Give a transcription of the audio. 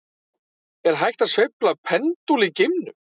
Er hægt að sveifla pendúl í geimnum?